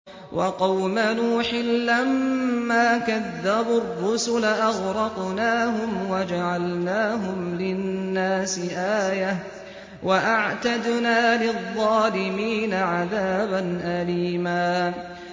وَقَوْمَ نُوحٍ لَّمَّا كَذَّبُوا الرُّسُلَ أَغْرَقْنَاهُمْ وَجَعَلْنَاهُمْ لِلنَّاسِ آيَةً ۖ وَأَعْتَدْنَا لِلظَّالِمِينَ عَذَابًا أَلِيمًا